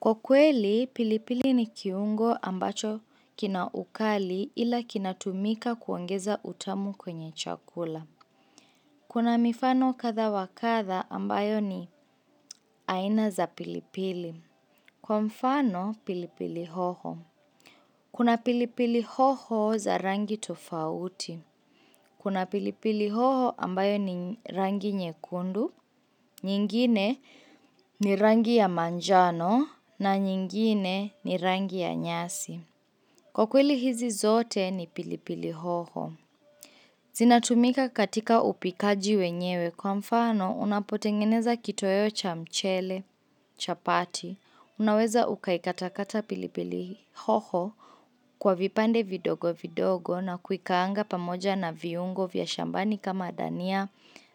Kwa kweli, pilipili ni kiungo ambacho kina ukali ila kina tumika kuongeza utamu kwenye chakula. Kuna mifano katha wakatha ambayo ni aina za pilipili. Kwa mfano, pilipili hoho. Kuna pilipili hoho za rangi tofauti. Kuna pilipili hoho ambayo ni rangi nyekundu, nyingine ni rangi ya manjano na nyingine ni rangi ya nyasi. Kwa kweli hizi zote ni pilipili hoho. Zinatumika katika upikaji wenyewe kwa mfano unapotengeneza kitoweo cha mchele, chapati. Unaweza ukaikatakata pilipili hoho kwa vipande vidogo vidogo na kuikaanga pamoja na viungo vya shambani kama dania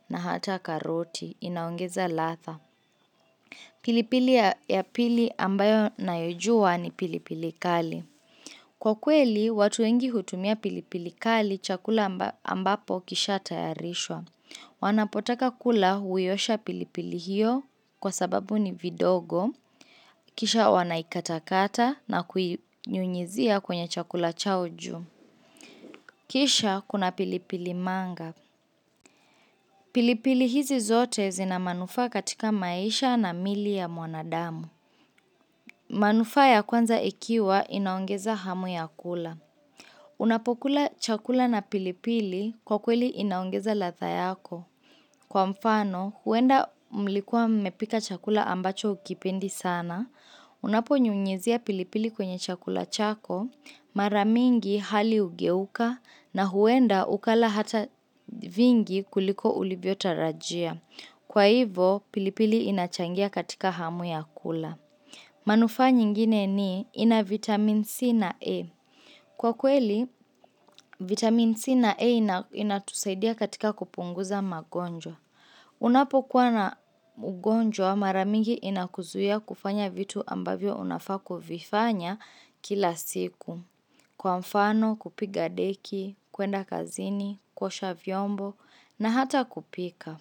na hata karoti. Inaongeza latha. Pilipili ya pili ambayo nayojua ni pilipili kali. Kwa kweli, watu wengi hutumia pilipili kali chakula ambapo kisha tayarishwa. Wanapotaka kula huiyosha pilipili hiyo kwa sababu ni vidogo Kisha wanaikatakata na kuiyunyizia kwenye chakula chao juu Kisha kuna pilipili manga pilipili hizi zote zinamanufa katika maisha na mili ya mwanadamu manufa ya kwanza ikiwa inaongeza hamu ya kula Unapokula chakula na pilipili kwa kweli inaongeza latha yako Kwa mfano, huenda mlikuwa mpika chakula ambacho ukipendi sana, unapo nyunyizia pilipili kwenye chakula chako, mara mingi hali hugeuka, na huenda ukala hata vingi kuliko ulivyo tarajia. Kwa hivyo, pilipili inachangia katika hamu ya kula. Manufa nyingine ni, ina vitamin C na E. Kwa kweli, vitamin C na E inatusaidia katika kupunguza magonjwa. Unapokuwa na ugonjwa mara mingi inakuzuia kufanya vitu ambavyo unafaaku vifanya kila siku. Kwa mfano, kupiga deki, kwenda kazini, kusha vyombo na hata kupika.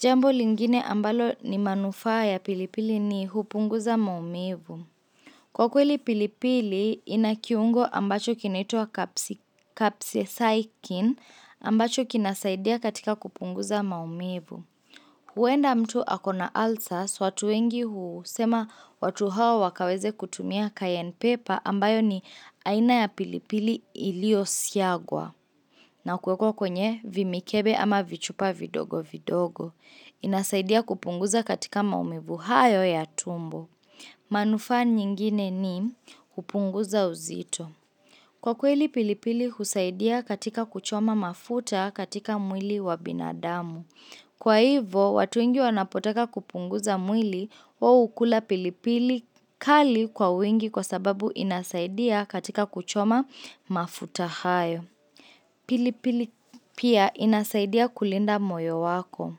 Jambo lingine ambalo ni manufaa ya pilipili ni hupunguza maumivu. Kwa kweli pilipili inakiungo ambacho kinaitwa kapsi saikin ambacho kinasaidia katika kupunguza maumivu. Huenda mtu akona alsas watu wengi huu sema watu hawa wakaweze kutumia cayenne pepper ambayo ni aina ya pilipili ilio siagwa. Na kuwekwa kwenye vimikebe ama vichupa vidogo vidogo. Inasaidia kupunguza katika maumivu hayo ya tumbo. Manufaa nyingine ni hupunguza uzito. Kwa kweli pilipili husaidia katika kuchoma mafuta katika mwili wa binadamu. Kwa hivyo, watu wengi wanapotaka kupunguza mwili wao hukula pilipili kali kwa wingi kwa sababu inasaidia katika kuchoma mafuta hayo. Pilipili pia inasaidia kulinda moyo wako.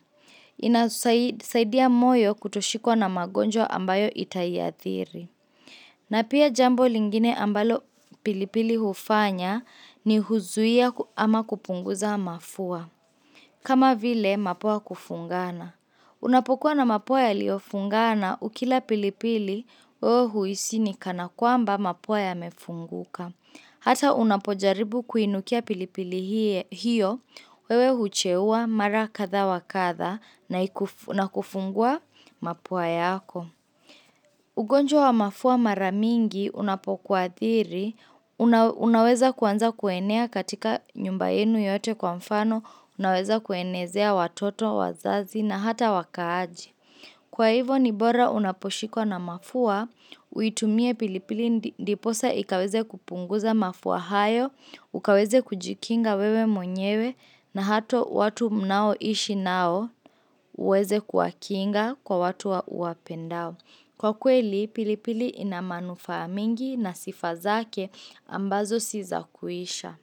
Inasaidia moyo kutoshikwa na magonjwa ambayo itaiathiri. Na pia jambo lingine ambalo pilipili hufanya ni huzuia ama kupunguza mafua. Kama vile, mapua kufungana. Unapokuwa na mapua ya liofungana, ukila pilipili, wewe huisi ni kana kwamba mapua yamefunguka. Hata unapojaribu kuinukia pilipili hiyo, wewe huchewa mara katha wakatha na kufungua mapua yako. Ugonjwa wa mafua mara mingi, unapokuwathiri, unaweza kwanza kuenea katika nyumba yenu yote kwa mfano, Unaweza kuenezea watoto, wazazi na hata wakaaji Kwa hivyo nibora unaposhikwa na mafua Uitumie pilipili ndiposa ikaweze kupunguza mafua hayo Ukaweze kujikinga wewe mwenyewe na hata watu mnao ishi nao uweze kuwakinga kwa watu wa uwapendao Kwa kweli, pilipili inamanufa mingi na sifazake ambazo siza kuisha.